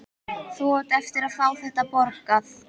Þú átt eftir að fá þetta borgað!